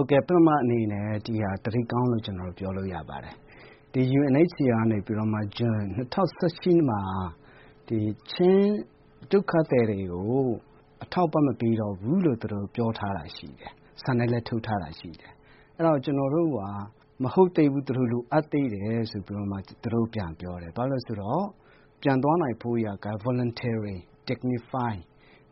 ုတ်ကဲ့ ပထမအနေနဲ့ ဒီဟာ သတင်းကောင်းလို့ ကျနော်ပြောလို့ရပါတယ်။ UNHCR ကနေပြီးတော့မှ ဇွန် ၂၀၁၈ မှာ ချင်းဒုက္ခသည်တွေကို အထောက်အပံ့မပေးတော့ဘူးလို့ သူတို့ပြောထားတာရှိပါတယ်။ စာနဲ့လည်းထုတ်ထားတာရှိတယ်။ အဲဒါကျနော်တို့က မဟုတ်သေးဘူး လိုအပ်သေးတယ်။ ဆိုပြီးတော့မှ သူတို့ပြန်ပြောတယ်။ ဘာဖြစ်လို့လဲဆိုတော့ သူတို့ ပြန်သွားနိုင်ဖို့အတွက်က Voluntarily dignify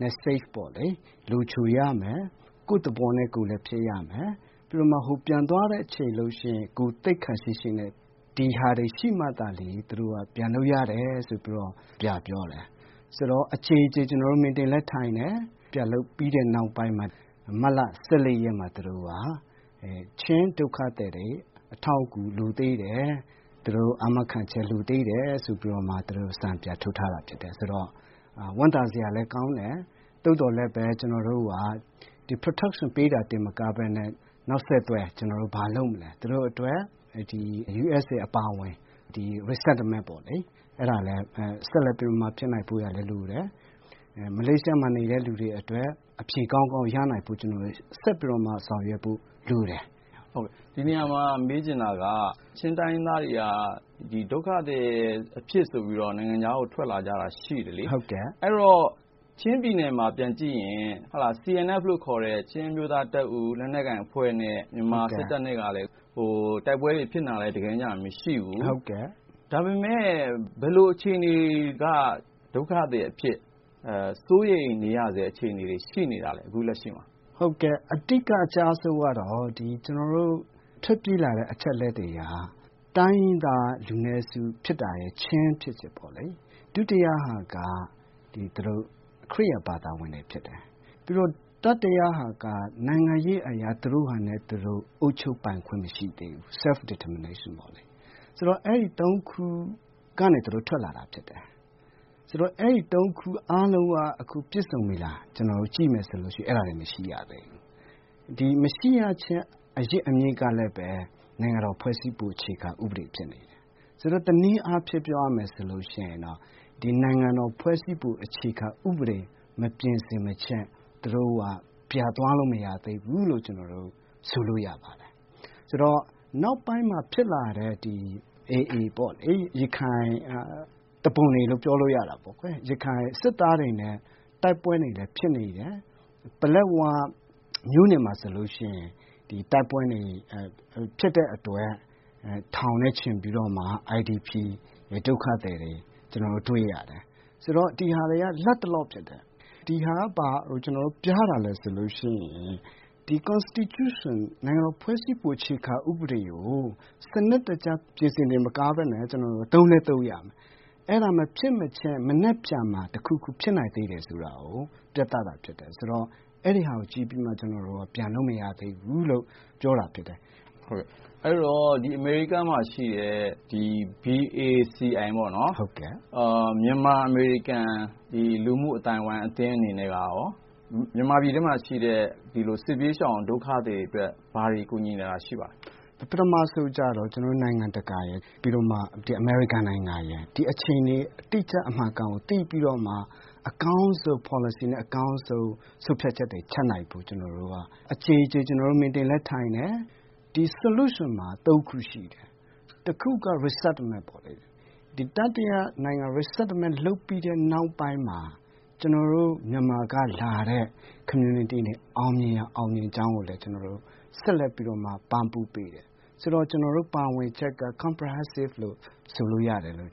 မက်ဆေ့ပေါ့လေ လုံခြုံရမယ်၊ ကိုယ့်သဘောနဲ့ ကိုယ်လည်းဖြစ်ရမယ်။ ပြီးတော့မှ ပြန်သွားတဲ့အချိန်ဆိုရင် ဂုဏ်သိက္ခာရှိရှိနဲ့ ဒါတွေရှိမှသာလျင် သူတို့က ပြန်လို့ရတယ်ဆိုပြီးတော့ ပြန်ပြောတယ်။ ဆိုတော့ အကြိမ်ကြိမ် ကျနော်တို့ meeting တွေလည်းထိုင်တယ်။ ပြန်လုပ်ပြီးတဲ့နောက်ပိုင်းမှာ မတ်လ ၁၄ ရက်နေ့မှာ သူတို့က ချင်းဒုက္ခသည်တွေ အထောက်အကူလိုသေးတယ်၊ သူတို့ အာမခံချက် လိုသေးတယ် ဆိုပြီးတော့ သူတို့ စာပြန်ထုတ်ထားတာဖြစ်တယ် ဆိုတော့ ဝမ်းသာစရာလည်းကောင်းတယ်။ သို့သော်လည်း ကျနော်တို့က Protection ပေးတာတင်မကပဲနဲ့ နောက်ဆက်တွဲ ကျနော်တို့ ဘာလုပ်မလဲ သူတို့အတွက် USA အပါအဝင် Resettlement ပေါ့လေ အဲဒါလည်း ဆက်လက်ဖြစ်နိုင်ဖို့အတွက်လိုတယ်။ မလေးရှားမှာ နေတဲ့လူတွေအတွက် အဖြေကောင်းကောင်းရနိုင်ဖို့အတွက် ဆောင်ရွက်ဖို့လိုတယ်။ ကိုဉာဏ်ဝင်းအောင်။ ။ ဒီနေရာမှာ မေးချင်တာက ချင်းတိုင်းရင်းသားတွေက ဒုက္ခသည်အဖြစ်ဆိုပြီးတော့ နိုင်ငံခြားကို ထွက်လာကြတာရှိတယ်လေ။ အဲဒီတော့ ချင်းပြည်နယ်မှာ ပြန်ကြည့်ရင် CNF လို့ခေါ်တဲ့ ချင်းအမျိုးသားတပ်ဦး လက်နက်ကိုင်အဖွဲ့နဲ့ မြန်မာစစ်တပ်နဲ့ က တိုက်ပွဲတွေဖြစ်နေတာလည်း မရှိဘူး ၊ ဒါပေမယ့် ဘယ်လိုအခြေအနေက ဒုက္ခသည်အဖြစ် စိုးရိမ်ရတဲ့ အခြေအနေတွေ ရှိနေတာလဲ အခုလက်ရှိမှာ။ ကိုဆလိုင်းအီလိုင်ဇာဗာနီး ။ ။ ဟုတ်ကဲ့ အဓိကအကျဆုံးက ကျနော်တို့ ထွက်ပြေးလာတဲ့ အချက်အလက်တွေက တိုင်းရင်းသားလူနည်းစု ဖြစ်တာ ချင်းဖြစ်တယ်ပေါ့နော် ၊ ဒုတိယက ခရစ်ယာန်ဘာသာဝင်တွေဖြစ်တယ်။ ပြီးတော့ တတိယက နိုင်ငံရေးအရေ သူတို့ဟာသူတို့ အုပ်ချုပ်ပိုင်ခွင့်မရှိသေးဘူး self determination ပေါ့လေ။ ဆိုတော့ အဲဒီ ၃ ခု ကနေထွက်လာတာဖြစ်တယ်။ ဆိုတော့ အဲဒီ ၃ ခု ပြည့်စုံပြီလားလို့ ကျနော်တို့ ကြည့်မယ်ဆိုရင် အဲဒါတွေ မရှိသေးဘူး။ မရှိရခြင်းအရင်းအမြစ်ကလည်း နိုင်ငံတော်ဖွဲ့စည်းပုံ အခြေခံဥပဒေဖြစ်နေတယ်။ ဆိုတော့ တနည်းအားဖြင့် ပြောရမယ်ဆိုရင် ဒီနိုင်ငံတော်ဖွဲ့စည်းပုံ အခြေခံဥပဒေ မပြင်ဆင်မခြင်း ပြန်သွားလို့မရသေးဘူးလို့ ဆိုလိုရပါတယ်။ ဆိုတော့ နောက်ပိုင်းမှာ ဖြစ်လာတဲ့ AA ပေါ့လေ ရခိုင်စစ်သားတွေနဲ့ တိုက်ပွဲတွေလည်း ဖြစ်နေတယ်။ ပလက်ဝမြို့နယ်မှာဆိုရင် ဒီတိုက်ပွဲတွေ ဖြစ်တဲ့အတွက် ထောင်နဲ့ချီပြီးတော့မှ IDP ဒုက္ခသည်တွေ ကျနော်တို့တွေ့ရတယ်။ ဆိုတော့ ဒါတွေက လက်တလောဖြစ်တယ်။ ဒါကဘာကို ပြတာလဲဆိုရင် ဒီနိုင်ငံတော်ဖွဲ့စည်းပုံ အခြေခံဥပဒေကို စနစ်တကျ ပြင်ဆင်တာမကပဲနဲ့ ကျနော်တို့ သုံးလည်း သုံးရမယ်။ အဲဒါမဖြစ်မချင်း မနက်ဖြန်မှာ တခုခုဖြစ်နိုင်တယ်ဆိုတာကို ပြတာဖြစ်တယ် ဆိုတော့အဲဒါကို ကြည့်ပြီးမှ ကျနော်တို့ ပြန်လို့မရသေးဘူးလို့ ပြောတာဖြစ်တယ်။ ကိုဉာဏ်ဝင်းအောင်။ ။အမေရိကန်မှာရှိတဲ့ BACI ပေါ့နော် မြန်မာအမေရိကန် လူမှုအသိုင်းအဝိုင်းအသင်းတွေအနေနဲ့ကရော မြန်မာပြည်မှာရှိတဲ့ စစ်ဘေးရှောင်ဒုက္ခသည်တွေအတွက် ဘာတွေကူညီနေတာရှိပါသလဲ။ ကိုဆလိုင်းအီလိုင်ဇာဗာနီး ။ ။ပထမဦးဆုံးတော့ နိုင်ငံတကာရယ် ပြီးတော့ အမေရိကန်နိုင်ငံရယ် ဒီအခြေအနေတွေ အတိအကျအမှန်အကန်ကို သိပြီးတော့မှ အကောင်းဆုံး ပေါ်လစီနဲ့၊ အကောာင်းဆုံး ဆုံးဖြတ်ချက်တွေချနိုင်ဖို့ ကျနော်တို့ အကြိမ်ကြိမ် meeting တွေလည်းထိုင်တယ်။ ဒီ Solution မှာ ၃ ခုရှိတယ်။ တခုက Resettlement ပေါ့လေ တတိယနိုင်ငံတွေမှာ Resettlement လုပ်ပြီးတဲ့ နောက်ပိုင်းမှာ ကျနော်တို့ မြန်မာက လာတဲ့ community တွေအောင်မြင်ရင် အောင်မြင်တဲ့အကြောင်းကိုလည်း ကျနော်တို့က ဆက်လက်ပြီးပံ့ပိုးပေးတယ်။ ဆိုတော့ ကျနော်တို့ ပါဝင်တာက comprehensive လို့ ဆိုလို့ရမယ်လို့